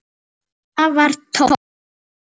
Það var tómt.